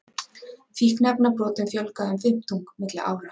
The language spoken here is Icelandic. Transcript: Fíkniefnabrotum fjölgaði um fimmtung milli ára